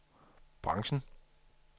branchen